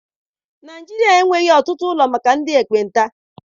Naịjirịa enweghị ọtụtụ ụlọ maka ndị ekpenta.